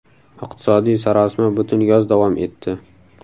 Iqtisodiy sarosima butun yoz davom etdi.